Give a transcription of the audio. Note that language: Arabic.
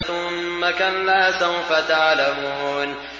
ثُمَّ كَلَّا سَوْفَ تَعْلَمُونَ